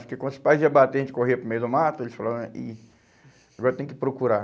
Porque quando os pais iam bater, a gente corria para o meio do mato, eles falavam, ih, agora tem que procurar.